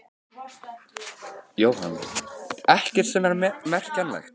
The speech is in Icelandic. Jóhann: Ekkert sem er merkjanlegt?